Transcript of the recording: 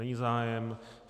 Není zájem.